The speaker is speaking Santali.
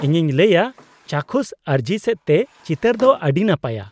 ᱤᱧᱤᱧ ᱞᱟᱹᱭᱼᱟ ᱪᱟᱠᱷᱩᱥ ᱟᱹᱨᱡᱤ ᱥᱮᱫ ᱛᱮ ᱪᱤᱛᱟᱹᱨ ᱫᱚ ᱟᱹᱰᱤ ᱱᱟᱯᱟᱭᱟ ᱾